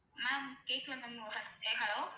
mam கேக்கல hello